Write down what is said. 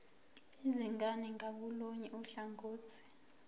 izingane ngakolunye uhlangothi